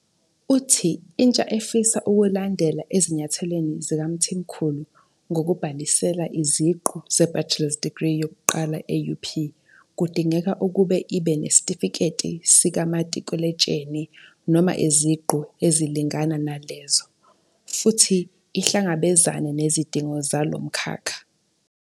Uthi intsha efisa ukulandela ezinyathelweni zikaMthimkhulu ngokubhalisela iziqu zebachelor's degree yokuqala e-UP kudingeka ukuba ibe neSitifiketi sikaMatikuletsheni, noma iziqu ezilingana nalezo, futhi ihlangabezane nezidingo zalo mkhakha.